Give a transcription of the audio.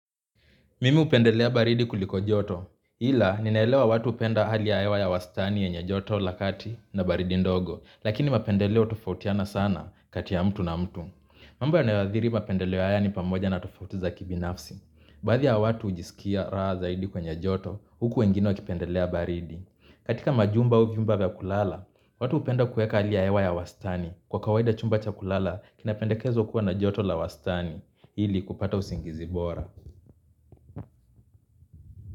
Mimi hupendelea baridi kuliko joto, ila ninaelewa watu hupenda hali ya hewa ya wastani yenye joto la kati na baridi ndogo, lakini mapendeleo hutofautiana sana kati ya mtu na mtu. Mambo yanayoathiri mapendeleo haya ni pamoja na tofauti za kibinafsi. Baadhi ya watu hujisikia raha zaidi kwenye joto huku wengine wakipendelea baridi. Katika majumba au vyumba vya kulala, watu hupenda kueka hali ya hewa ya 1wastani kwa kawaida chumba cha kulala kinapendekezwa kuwa na joto la wastani ili kupata usingizi bora.